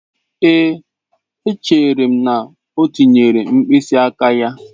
Ee, echere m na O tinyere mkpịsị aka ya.